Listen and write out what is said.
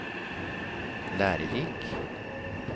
lærerik